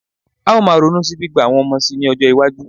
A ó máa ronú sí gbígba àwọn ọmọ síi ní ọjọ́-iwájú.